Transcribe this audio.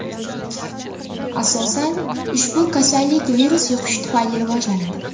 Asosan, ushbu kasallik virus yuqishi tufayli rivojlanadi.